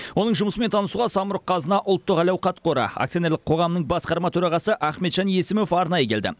оның жұмысымен танысуға самұрық қазына ұлттық әл ауқат қоры акционерлік қоғамның басқарма төрағасы ахметжан есімов арнайы келді